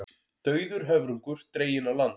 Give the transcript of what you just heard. Dauður höfrungur dreginn á land